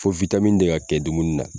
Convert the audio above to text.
Fo de ka kɛ dumuni na.